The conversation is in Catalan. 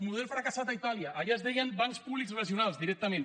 model fracassat a itàlia allà es deien bancs públics regionals directament